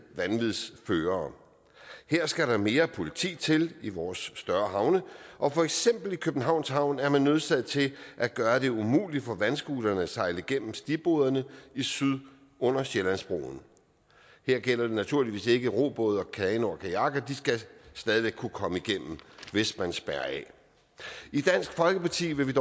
vanvidsførere her skal der mere politi til i vores større havne og for eksempel i københavns havn er man nødsaget til at gøre det umuligt for vandscooterne at sejle igennem stigbordene i syd under sjællandsbroen det gælder naturligvis ikke robåde kanoer og kajakker de skal stadig væk kunne komme igennem hvis man spærrer af i dansk folkeparti vil